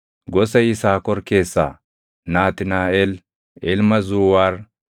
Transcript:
gosa Yisaakor keessaa Naatnaaʼel ilma Zuuwaar;